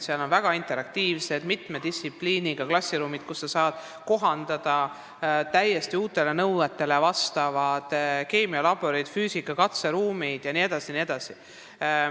Seal on väga interaktiivsed, mitme distsipliini õpetust võimaldavad klassiruumid, sinna saab rajada täiesti uuetele nõuetele vastavad keemialaborid, füüsikatunni katseruumid jne.